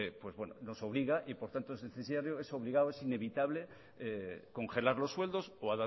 pues bueno nos obliga y por tanto es necesario es obligado en inevitable congelar los sueldos o